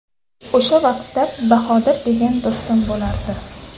O‘sha vaqtda Bahodir degan do‘stim bo‘lardi.